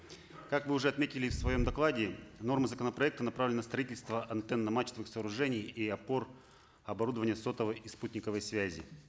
как вы уже отметили в своем докладе нормы законопроекта направлены на строительство антенно мачтовых сооружений и опор обородувание сотовой и спутниковой связи